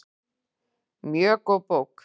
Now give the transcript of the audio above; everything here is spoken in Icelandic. Mjög góð bók.